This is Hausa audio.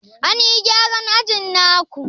An yi gyaran ajin na ku?